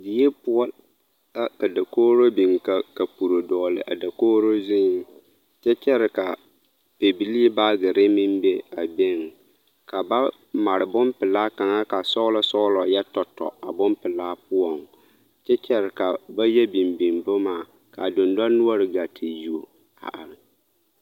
Die poɔ la ka dokogro biŋ ka kapure dɔgle a dokogro zuŋ kyɛ kyɛre ka bibilii baagirre meŋ be a beŋ ka ba mare bon pelaa kaŋ ka sɔglɔ sɔglɔ yɛ tɔ tɔ a bonpelaa na poɔŋ kyɛ kyɛre ka ba yɔ biŋ biŋ boma ka dendonoɔre gaa te yuo a are.